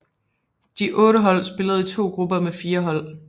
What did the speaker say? De otte hold spillede i to grupper med fire hold